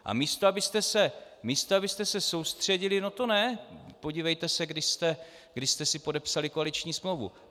A místo abyste se soustředili - no to ne, podívejte se, kdy jste si podepsali koaliční smlouvu.